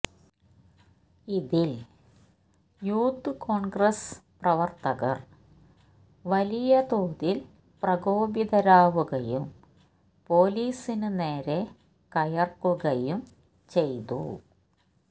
ഇതിൽ യൂത്ത് കോൺഗ്രസ് പ്രവർത്തകർ വലിയ തോതിൽ പ്രകോപിതരാവുകയും പൊലീസിന് നേരെ കയർക്കുകയും ചെയ്തു